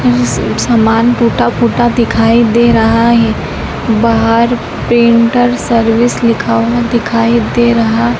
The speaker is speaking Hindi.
ये सब सामान टूटा-फूटा दिखाई दे रहा है बाहर पेंटर सर्विस लिखा हुआ दिखाई दे रहा --